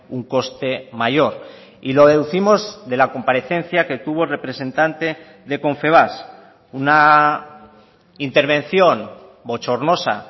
un coste mayor y lo deducimos de la comparecencia que tuvo representante de confebask una intervención bochornosa